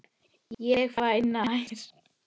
Ég fer nær.